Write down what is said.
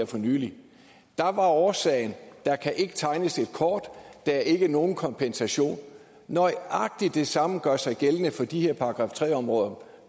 for nylig der var årsagen der kan ikke tegnes et kort der er ikke nogen kompensation nøjagtig det samme gør sig gældende for de her § tre områder